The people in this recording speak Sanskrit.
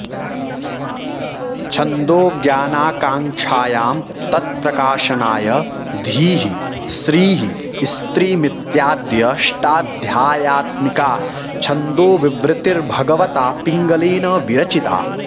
छन्दोज्ञानाकाङ्क्षायां तत्प्रकाशनाय धीः श्रीः स्त्रीमित्याद्यष्टाध्यायात्मिका छन्दोविवृतिर्भगवता पिङ्गलेन विरचिता